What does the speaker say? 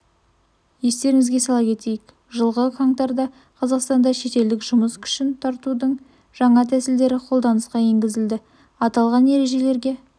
естеріңізге сала кетейік жылғы қаңтарда қазақстанда шетелдік жұмыс күшін тартудың жаңа тәсілдері қолданысқа енгізілді аталған ережелерге